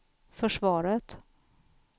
försvaret